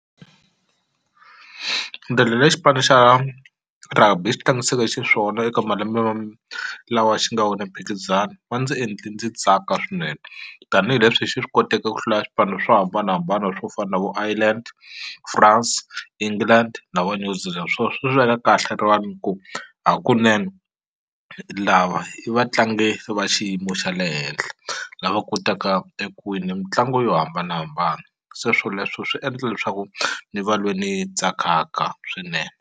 xipano xa rugby xi tlangisaka xiswona eka malembe lawa xi nga wina mphikizano va ndzi endle ndzi tsaka swinene tanihileswi xi swi koteke ku hlula swipano swo hambanahambana swo fana vo Ireland France england na va swo swi swi veka kahle rivaleni ku hakunene lava i vatlangi va xiyimo xa le henhla lava kotaka eku wina mitlangu yo hambanahambana se swoleswo swi endla leswaku ni va lwe ni tsakaka swinene.